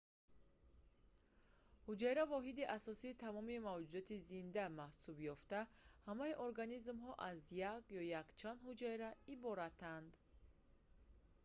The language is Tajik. ҳуҷайра воҳиди асосии тамоми мавҷудоти зинда маҳсуб ёфта ҳамаи организмҳо аз як ё якчанд ҳуҷайра иборатанд